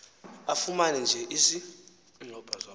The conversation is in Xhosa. afumene nje isi